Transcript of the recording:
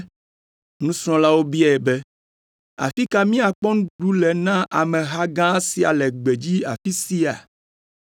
Nusrɔ̃lawo biae be, “Afi ka míakpɔ nuɖuɖu le na ameha gã sia le gbedzi afi sia?”